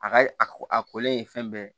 A ka a ko a kolen ye fɛn bɛɛ ye